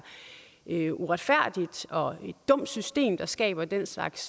et uretfærdigt og dumt system der skaber den slags